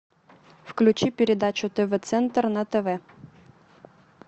включи передачу тв центр на тв